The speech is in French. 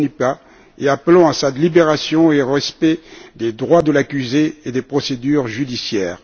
Mbonimpa et appelons à sa libération et au respect des droits de l'accusé et des procédures judiciaires.